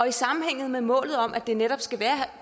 i sammenhæng med målet om at det netop skal være